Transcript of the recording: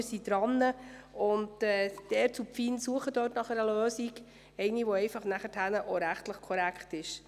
Die ERZ und die FIN suchen nach einer Lösung, die schliesslich auch rechtlich korrekt ist.